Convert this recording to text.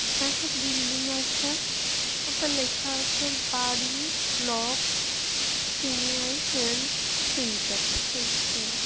একটা বিল্ডিং আছে ওতে লেখা আছে বাড়ি ব্লক ক্রিমিয়া হেলথ সেন্টার